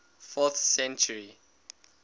fourth century